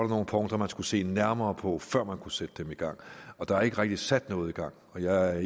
nogle punkter man skulle se nærmere på før man kunne sætte dem i gang der er ikke rigtig sat noget i gang og jeg er